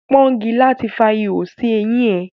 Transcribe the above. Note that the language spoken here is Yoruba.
Pọ́ngilá ti fa ihò sí eyín ẹ.